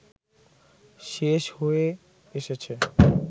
শেষ হয়ে এসেছে